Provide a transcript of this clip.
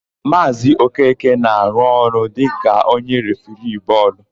Maazị Okeke na-arụ ọrụ dịka onye refiri égwú bọọlụ.